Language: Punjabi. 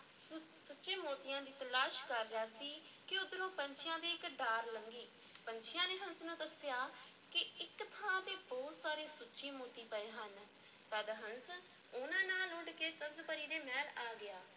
ਸੁੱਚੇ ਮੋਤੀਆਂ ਦੀ ਤਲਾਸ਼ ਕਰ ਰਿਹਾ ਸੀ ਕਿ ਉੱਧਰੋਂ ਪੰਛੀਆਂ ਦੀ ਇੱਕ ਡਾਰ ਲੰਘੀ, ਪੰਛੀਆਂ ਨੇ ਹੰਸ ਨੂੰ ਦੱਸਿਆ ਕਿ ਇੱਕ ਥਾਂ ਤੇ ਬਹੁਤ ਸਾਰੇ ਸੁੱਚੇ ਮੋਤੀ ਪਏ ਹਨ, ਤਦ ਹੰਸ ਉਹਨਾਂ ਨਾਲ ਉੱਡ ਕੇ ਸਬਜ਼-ਪਰੀ ਦੇ ਮਹਿਲ ਆ ਗਿਆ।